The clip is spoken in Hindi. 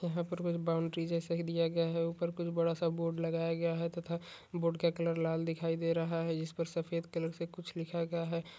यहाँ पर कुछ बॉउंड्री जैसा दिया गया है उपर कुछ बड़ा सा बोर्ड लगाया गया है तथा बोर्ड का कलर लाल दिखाई दे रहा है जिस पर सफेद कलर से कुछ लिखा गया है ।